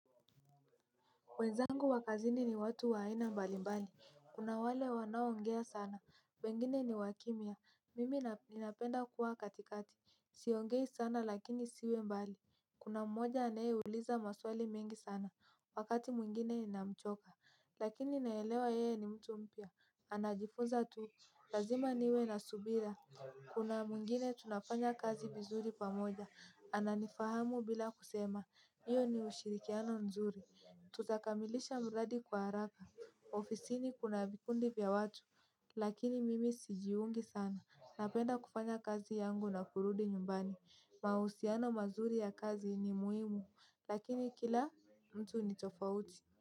Wenzangu wa kazini ni watu wa aina mbalimbali, kuna wale wanaoongea sana, wengine ni wa kimya, mimi ninapenda kuwa katikati, siongei sana lakini siwe mbali. Kuna mmoja anayeuliza maswali mengi sana, wakati mwingine inamchoka, lakini naelewa yeye ni mtu mpya, anajifunza tu, lazima niwe na subira. Kuna mwingine tunafanya kazi vizuri pamoja, ananifahamu bila kusema, iyo ni ushirikiano nzuri. Tutakamilisha mradi kwa haraka, ofisini kuna vikundi vya watu, lakini mimi sijiungi sana. Napenda kufanya kazi yangu na kurudi nyumbani, mahusiano mazuri ya kazi ni muhimu, lakini kila mtu ni tofauti.